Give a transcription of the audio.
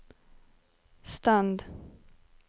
stand